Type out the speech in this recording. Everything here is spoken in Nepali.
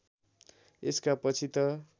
यसका पछि त